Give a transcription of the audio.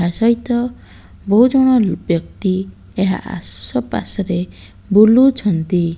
ତାସହିତ ବୋହୁ ଜନ ବ୍ୟକ୍ତି ଏହା ଏସୁସ ପାସରେ ବୁଲୁଛନ୍ତି।